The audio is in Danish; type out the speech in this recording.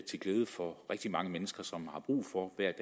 til glæde for rigtig mange mennesker som har brug for hver